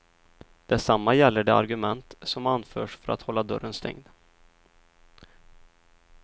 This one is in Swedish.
Detsamma gäller de argument som anförs för att hålla dörren stängd.